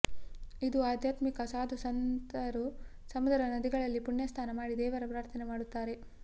ಇಂದು ಆದ್ಯಾತ್ಮಿಕ ಸಾದು ಸಂತರು ಸಮುದ್ರ ನದಿಗಳಲ್ಲಿ ಪುಣ್ಯಸ್ಥಾನ ಮಾಡಿ ದೇವರ ಪ್ರಾರ್ಥನೆ ಮಾಡುತ್ತಾರೆ